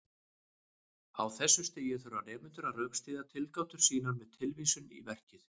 Á þessu stigi þurfa nemendur að rökstyðja tilgátur sínar með tilvísun í verkið.